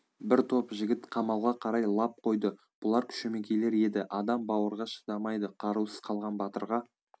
бір топ жігіт қамалға қарай лап қойды бұлар шөмекейлер еді адам бауырға шыдамайды қарусыз қалған батырға